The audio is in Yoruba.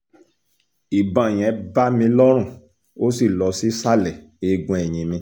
ìbọn yẹn bá mi lọ́rùn ó sì lọ sí ìsàlẹ̀ eegun eyín mi